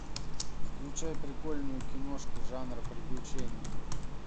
включай прикольную киношку жанр приключения